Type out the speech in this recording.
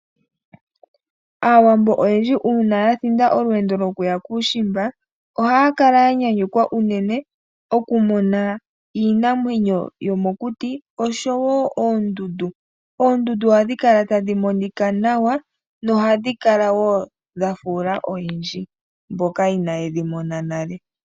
Aawambo oyendji uuna ya thinda olweendo lwokuya kuushimba ohaya kala ya nyanyukwa unene okumona iinamwenyo yomokuti oshowo oondundu. Oondundu ohadhi kala tadhi monika nawa nohadhi kala wo dha fuula oyendji mboka inaa ye dhi mona nale.